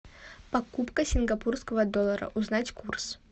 покупка сингапурского доллара узнать курс